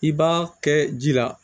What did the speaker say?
I b'a kɛ ji la